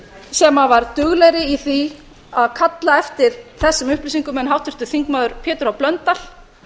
sem var duglegri í því að kalla eftir þessum upplýsingum en háttvirtur þingmaður pétur h blöndal